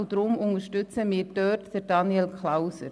Darum unterstützen wir hier Daniel Klauser.